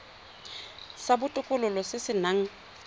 sa botokololo se se nang